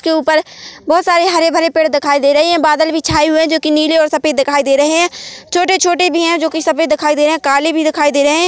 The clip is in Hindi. इस के ऊपर बहुत सारे हरे भरे-पेड़ दिखाई दे रही है बादल भी छाए हुए जो कि नीले और सफेद दिखाई दे रहे हैं छोटे-छोटे भी है जो कि सफ़ेद दिखाई दे रहे है काले भी दिखाई दे रहे है।